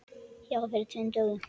Já, fyrir tveim dögum.